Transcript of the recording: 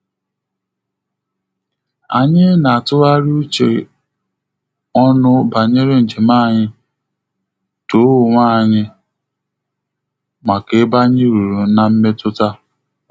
Anyị na atughari uche onu banyere njem anyị, too onwe anyị maka ebe anyị ruru na mmetuta